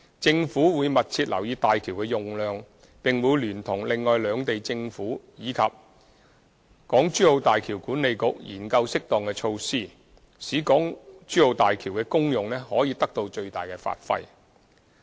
政府會密切留意大橋的用量，並會聯同另外兩地政府及大橋管理局研究適當措施，使大橋的功用可以得到最大的發揮。